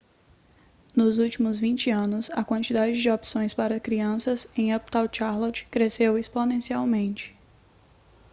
nos últimos 20 anos a quantidade de opções para crianças em uptown charlotte cresceu exponencialmente